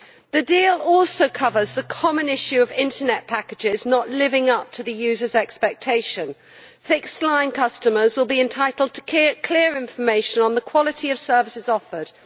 The deal also covers the common issue of internet packages not living up to the user's expectation. Fixed line customers will be entitled to clear information on the quality of services offered.